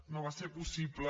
no va ser possible